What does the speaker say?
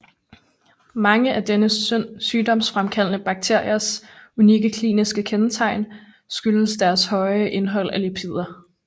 Mange af denne sygdomsfremkaldende bakteries unikke kliniske kendetegn skyldes dens høje indhold af lipider